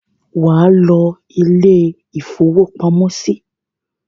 Wà á lọ ilé-ìfowópamọ́sí!